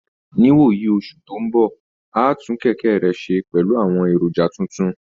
Ní ìwòyí oṣù tó ń bọ̀, á tún kẹ̀kẹ́ rẹ̀ ṣe pẹ̀lú àwọn èròjà tuntun